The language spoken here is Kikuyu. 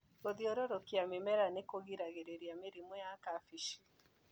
Gũthiũrũrukia mĩmera nĩkũgiragĩrĩria mĩrimũ ya kabĩci.